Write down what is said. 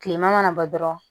Kilema mana bɔ dɔrɔn